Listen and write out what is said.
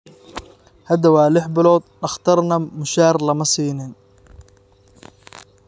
Hadda waa lix bilood, dhakhtarna mushahaar lama siin